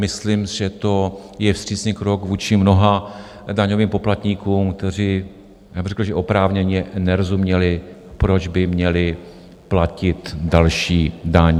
Myslím, že to je vstřícný krok vůči mnoha daňovým poplatníkům, kteří, já bych řekl, že oprávněně, nerozuměli, proč by měli platit další daň.